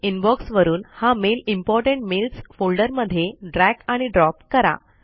inbox वरून हा mail important mails folder मध्ये ड्रैग आणि ड्रॉप करा